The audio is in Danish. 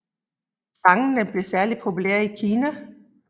Sangen blev særlig populær i Kina